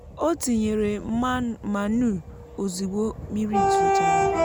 o tinyèrè mànuu òzugbo mmiri zòchàrà